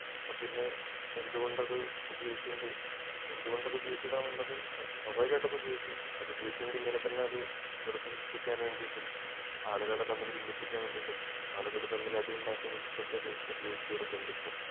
അപ്പൊ പിന്നെ എന്തുകൊണ്ട് അതുപയോഗിച്ചുകൊണ്ട് എന്തുകൊണ്ട് അത് ഉപയോഗിച്ചുകൂടാ എന്നുള്ളത് സ്വാഭാവികമായിട്ട് അതുപയോഗിക്കും അത് ഉപയോഗിച്ചത് കൊണ്ട് ഇങ്ങനെ തന്നെ അത് വെറുപ്പ് സൃഷ്ടിക്കാൻ വേണ്ടിട്ടും ആളുകളെ തമ്മിൽ ബിന്ദിപ്പിക്കാൻ വേണ്ടിട്ടും ആളുകൾ തമ്മിൽ അടി ഉണ്ടാകാൻ വേണ്ടിട്ടും ഒക്കെ അത് ഉപയോഗിച്ച് വരുന്നുണ്ട് ഇപ്പൊ